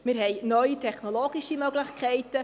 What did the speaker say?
Wir haben neue technologische Möglichkeiten.